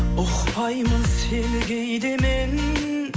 ұқпаймын сені кейде мен